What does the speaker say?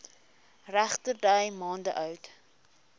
regterdy maande oud